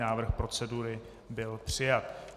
Návrh procedury byl přijat.